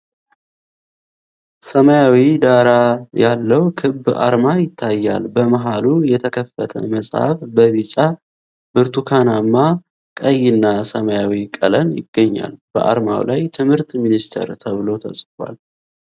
ሰማያዊ ዳራ ያለው ክብ አርማ ይታያል። በመሃሉ የተከፈተ መጽሐፍ በቢጫ፣ ብርቱካናማ፣ ቀይና ሰማያዊ ቀለም ይገኛል። በአርማው ላይ "ትምህርት ሚኒስቴር" እና" ተብሎ ተጽፏል።